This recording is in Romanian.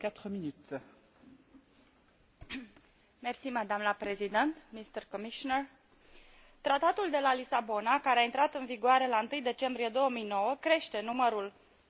Tratatul de la Lisabona, care a intrat în vigoare la 1 decembrie 2009, crește numărul situațiilor în care este necesară o aprobare din partea Parlamentului în vederea încheierii unui acord internațional.